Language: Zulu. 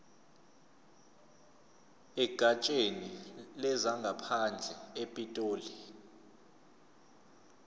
egatsheni lezangaphandle epitoli